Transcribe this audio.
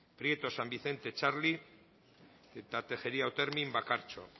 prieto san vicente txarli tejeria otermin bakartxo